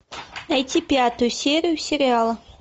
найти пятую серию сериала